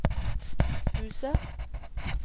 Fusa